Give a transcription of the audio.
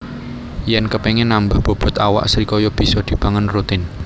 Yèn kepéngin nambah bobot awak srikaya bisa dipangan rutin